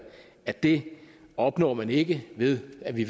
at det opnår man ikke ved at vi